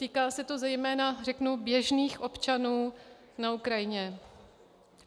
Týká se to zejména, řeknu, běžných občanů na Ukrajině.